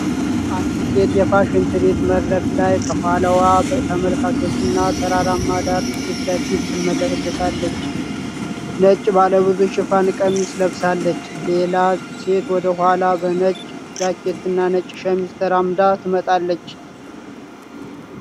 አንዲት ሴት የፋሽን ትርኢት መድረክ ላይ፣ ከኋላዋ ተመልካቾች እና ተራራማ ዳራ ፊት ለፊት ትመላለሳለች። ነጭ ባለ ብዙ ሽፋን ቀሚስ ለብሳለች። ሌላ ሴት ወደ ኋላ በነጭ ጃኬትና ነጭ ሸሚዝ ተራምዳ ትመጣለች።